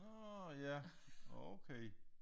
Nårh ja okay